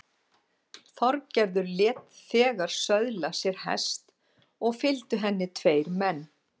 Þorgerður lét þegar söðla sér hest og fylgdu henni tveir menn.